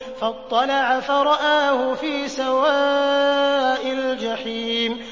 فَاطَّلَعَ فَرَآهُ فِي سَوَاءِ الْجَحِيمِ